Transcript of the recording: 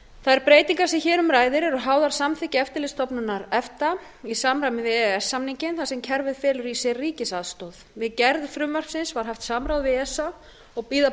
þær breytingar sem hér um ræðir eru háðar samþykki eftirlitsstofnunar efta í samræmi við e e s samninginn þar sem kerfið felur í sér ríkisaðstoð við gerð frumvarpsins var haft samráð við esa og bíða